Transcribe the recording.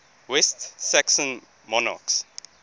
west saxon monarchs